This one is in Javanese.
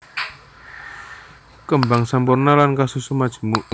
Kembang sampurna lan kasusun majemuk